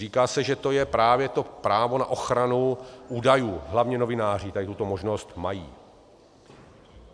Říká se, že to je právě to právo na ochranu údajů, hlavně novináři tady tuto možnost mají.